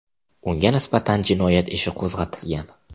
Unga nisbatan jinoyat ishi qo‘zg‘atilgan.